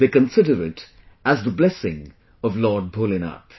They consider it as the blessings of Lord Bholenath